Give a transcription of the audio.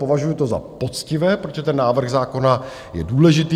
Považuji to za poctivé, protože ten návrh zákona je důležitý.